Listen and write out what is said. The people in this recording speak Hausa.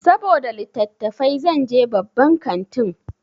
Saboda littatafai zan je babban kantin.